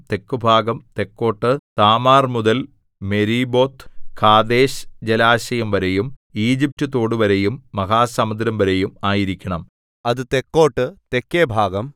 തെക്കുഭാഗം തെക്കോട്ട് താമാർമുതൽ മെരീബോത്ത്കാദേശ് ജലാശയംവരെയും ഈജിപറ്റ് തോടുവരെയും മഹാസമുദ്രംവരെയും ആയിരിക്കണം അത് തെക്കോട്ട് തെക്കേഭാഗം